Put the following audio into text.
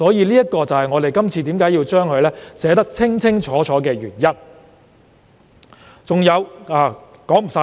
這是我們要將事情寫得清清楚楚的原因。